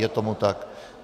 Je tomu tak.